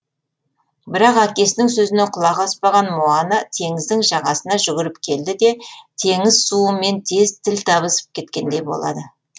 бірақ әкесінің сөзіне құлақ аспаған моана теңіздің жағасына жүгіріп келді де теңіз суы мен тез тіл табысып кеткендей болады